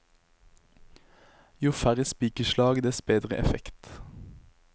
Jo færre spikerslag, dess bedre effekt.